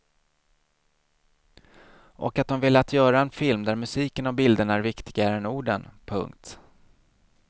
Och att de velat göra en film där musiken och bilderna är viktigare än orden. punkt